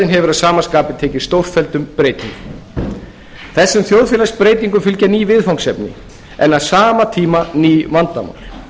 hefur að sama skapi tekið stórfelldum breytingum þessum þjóðfélagsbreytingum fylgja ný viðfangsefni en á sama tíma ný vandamál